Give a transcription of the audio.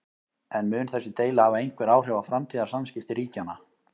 En mun þessi deila hafa einhver áhrif á framtíðar samskipti ríkjanna?